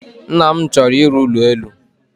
Nna m chọrọ ịrụ ụlọelu.